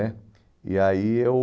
né. E aí eu...